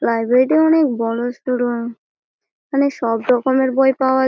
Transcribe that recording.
লাইব্রেরিটি অনেক বড়োসড়ো। এইখানে সবরকমের বই পাওয়া যা--